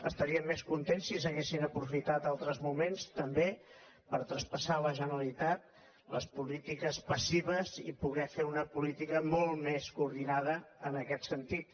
estaríem més contents si s’haguessin aprofitat altres moments també per traspassar a la generalitat les polítiques passives i poder fer una política molt més coordinada en aquest sentit